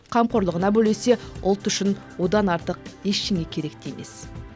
қамқорлығына бөлесе ұлт үшін одан артық ештеңе керек те емес